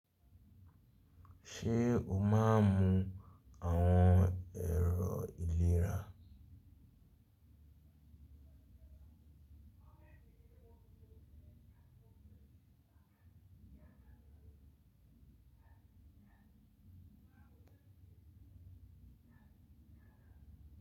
Ṣe o máa ń mu àwọn ẹ̀rọ ìlera.